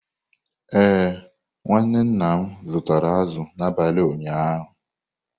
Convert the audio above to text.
Ee, nwa nwanne nna m zụtara azụ̀ n’abalị ụnyaahụ.